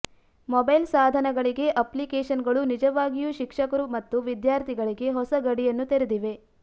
mobile ಸಾಧನಗಳಿಗೆ ಅಪ್ಲಿಕೇಶನ್ಗಳು ನಿಜವಾಗಿಯೂ ಶಿಕ್ಷಕರು ಮತ್ತು ವಿದ್ಯಾರ್ಥಿಗಳಿಗೆ ಹೊಸ ಗಡಿಯನ್ನು ತೆರೆದಿವೆ